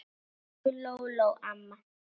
Elsku Lóló amma.